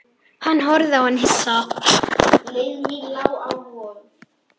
Hún horfði á hann hissa.